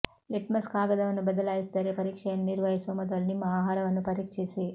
litmus ಕಾಗದವನ್ನು ಬದಲಾಯಿಸಿದರೆ ಪರೀಕ್ಷೆಯನ್ನು ನಿರ್ವಹಿಸುವ ಮೊದಲು ನಿಮ್ಮ ಆಹಾರವನ್ನು ಪರೀಕ್ಷಿಸಿ